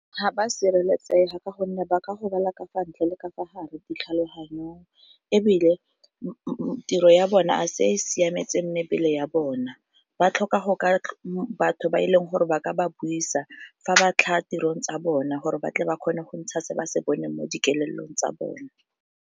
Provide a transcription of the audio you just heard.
Ga ba sireletsega ka gonne ba ka gobala ka fa ntle le ka fa gare ditlhaloganyong, ebile tiro ya bona a se e e siametseng mebele ya bona ba tlhoka go ka batho ba e leng gore ba ka ba buisa fa ba tlhaga tirong tsa bona gore ba tle ba kgone go ntsha se ba se boneng mo dikelelong tsa bone.